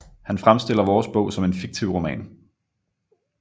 Han fremstiller vores bog som en fiktiv roman